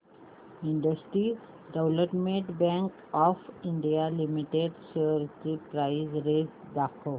industrial development bank of India limited shares ची price range दाखव